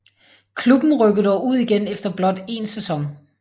Klubben rykkede dog ud igen efter blot en sæson